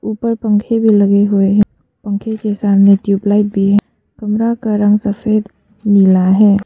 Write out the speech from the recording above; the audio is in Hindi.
ऊपर पंखे भी लगे हुए हैं पंखे के सामने ट्यूबलाइट भी है कमरा का रंग सफेद नीला है।